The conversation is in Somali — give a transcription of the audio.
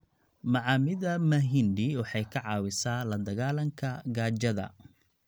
Macaamida mahindi waxay ka caawisaa la dagaallanka gaajada.